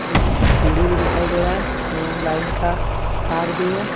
कुछ सीढ़ी भी दिखाई दे रहा है एवं लाइन का तार भी है।